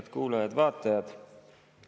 Head kuulajad-vaatajad!